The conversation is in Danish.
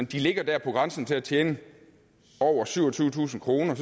de ligger der på grænsen til at tjene over syvogtyvetusind kroner